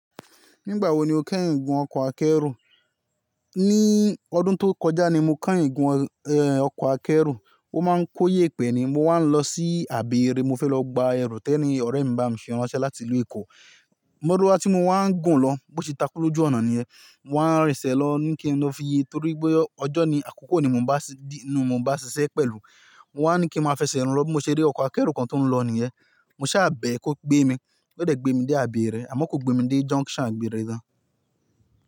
Nígbà wo ni o kán ìgún ọkọ̀ akẹ́rù? Ní ọdún tó kọjá ni mo keyin gún, eh, ọkọ̀ akẹ́rù. Ó máa ń kóyè pè ni. Mo wà á ń lọ sí Abẹ́èrè, mo fẹ́ lọ gba ẹrù tẹni ọ̀rẹ́ mi bá mi ṣe ránṣẹ́ láti ìlú Èkó. Maruwa ti mo wà á ń gùn lọ, bó ti takú lójú ọ̀nà niyẹn. Mo wà á ń rẹ̀sẹ̀ lọ ní kí n lọ fi ye torí pé ọjọ́ ni, àkókò ni mo bá di, nu mo bá ṣiṣẹ́ pẹ̀lú. Mo wà á ní kí n máa fẹsẹ̀ rún lọ bí mo ṣe rí ọkọ̀ akẹ́rù kan tó ń lọ niyẹn. Mo ṣà bẹ̀ ẹ́ kó gbé mi, ó dẹ̀ gbé mi dé Abẹ́èrè àmọ́ kò gbé mi dé junction Abẹ́èrè tán.